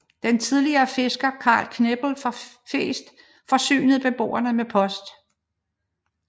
Den tidligere fisker Karl Knepel fra Freest forsynede beboerne med post